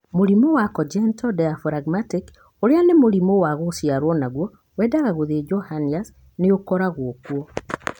Mũrimũ wa Congenital diaphragmatic, ũrĩa ni mũrimũ wa ngũciaro naguo wendaga gũthijo hernias nĩ ũkoragwo kuuo